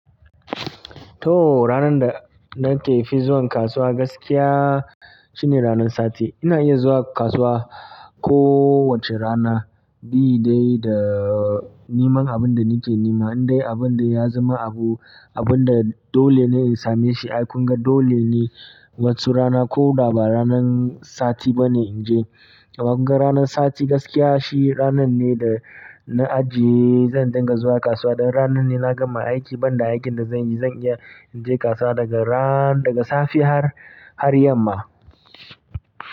To ranan da nake fi zuwan kasuwa gaskiya shine ranan sati. Ina iya zuwa kasuwa ko wacce rana bi dai da niman abun da nake nima. Indai abun de ya zama abu, abun da dolene in same shi. Ai kunga dole ne waccu rana koda ba ranan sati bane inje. Wa kunga ranan sati gaskiya shi ranan ne dana ajiye zan dinga zuwa kasuwa. Dan ranan ne na gama aiki banda aikin da zanyi zan iya inje kasuwa daga ran-- daga safe har, har yamma.